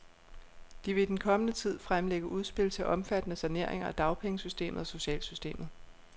De vil i den kommende tid fremlægge udspil til omfattende saneringer af dagpengesystemet og socialsystemet.